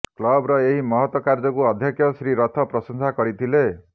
କ୍ଲବର ଏହି ମହତ କାର୍ଯ୍ୟକୁ ଅଧ୍ୟକ୍ଷ ଶ୍ରୀ ରଥ ପ୍ରଶଂସା କରିଥିଲେ